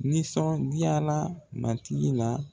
Nisɔn diyala matigi la